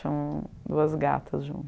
Tinha duas gatas junto.